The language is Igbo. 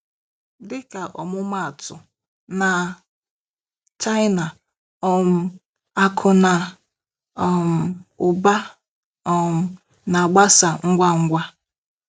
Dịka ọmụmaatụ, na China, um akụ na um ụba um na-agbasa ngwa ngwa.